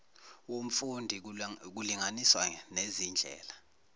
womfundi kulinganiswa nezindlela